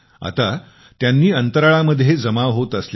आता त्यांनी अंतराळामध्ये जमा होत असलेल्या